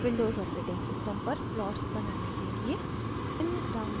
windows operating system पर plots बनाने के लिए